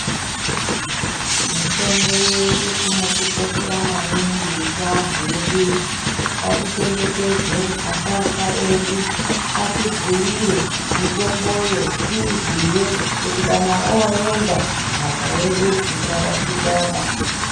Mitombo yedu inotikoshera maningi yechiantu yedu iyi ngatichengetedze asharukwa edu atibhuire mitombo yeduyo izive kuti kokana toda kuenda ndaka yedu isarashikaba.